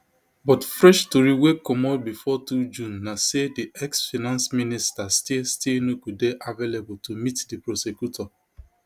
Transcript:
but fresh tori wey comot bifor two june na say di exfinance minister still still no go dey available to meet di prosecutor